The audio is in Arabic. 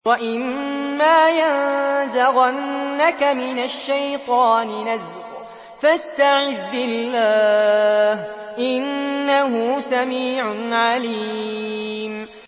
وَإِمَّا يَنزَغَنَّكَ مِنَ الشَّيْطَانِ نَزْغٌ فَاسْتَعِذْ بِاللَّهِ ۚ إِنَّهُ سَمِيعٌ عَلِيمٌ